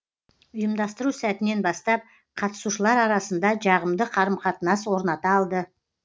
ұйымдастыру сәтінен бастап қатысушылар арасында жағымды қарым қатынас орната алды